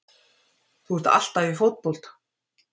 Þú ert alltaf í fótbolta!